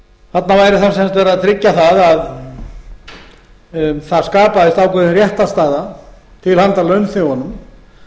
þá sem sagt verið að tryggja að það skapaðist ákveðin réttarstaða til handa launþegunum